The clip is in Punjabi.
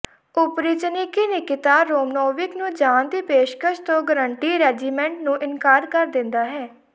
ਓਪਰੀਚਨੀਕੀ ਨਿਕਿਤਾ ਰੋਮਨੋਵਿਕ ਨੂੰ ਜਾਣ ਦੀ ਪੇਸ਼ਕਸ਼ ਤੋਂ ਗਾਰੰਟੀ ਰੈਜੀਮੈਂਟ ਨੂੰ ਇਨਕਾਰ ਕਰ ਦਿੰਦਾ ਹੈ